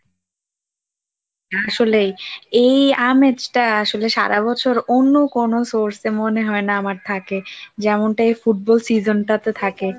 আসলেই এই আমেজটা আসলে সারা বছর অন্য কোন source এ মনে হয় না আমার থাকে যেমনটাই ফুটবল season টা তো থাকে